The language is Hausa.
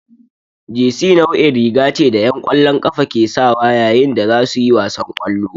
Jesi nau'in riga ce da 'yan ƙwallon ƙafa ke sawa yayin da za su yi wasan ƙwallo.